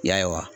Ya ye wa